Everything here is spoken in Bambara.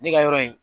Ne ka yɔrɔ in